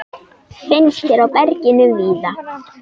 Finnst hér í berginu víða.